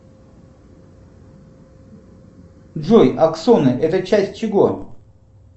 джой аксоны это часть чего